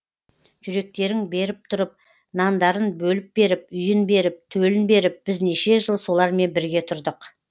жүректерің беріп тұрып нандарын бөліп беріп үйін беріп төлін беріп біз неше жыл солармен бірге тұрдық